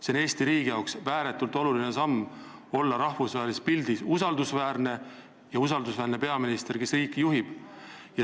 See on Eesti riigi jaoks ääretult oluline samm, selleks et me oleksime rahvusvahelises pildis usaldusväärsed ja meil oleks usaldusväärne peaminister, kes riiki juhib.